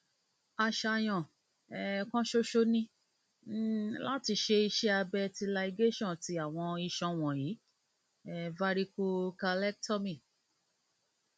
aṣayan um kan ṣoṣo ni um lati ṣe iṣẹ abẹ ti ligation ti awọn iṣan wọnyi varicocelectomy